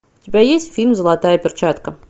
у тебя есть фильм золотая перчатка